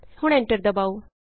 ਹੁਣ ਐਂਟਰ ਦਬਾਉ